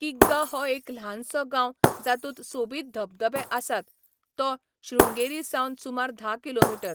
किग्गा हो एक ल्हानसो गांव जातूंत सोबीत धबधबे आसात, तो शृंगेरीसावन सुमार धा किमी.